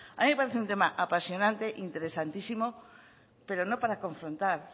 a mí me parece un tema apasionante interesantísimo pero no para confrontar